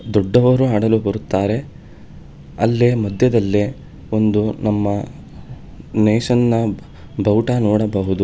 ದೊಡ್ಡವರು ಆಡಲು ಬರುತ್ತಾರೆ ಅಲ್ಲೇ ಮಧ್ಯದಲ್ಲೆ ಒಂದು ನಮ್ಮ ನೇಶನ್ನ ಬಾವುಟ ನೋಡಬಹುದು.